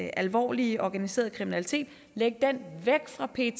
alvorlige organiserede kriminalitet væk fra pet